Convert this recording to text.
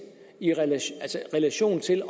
skal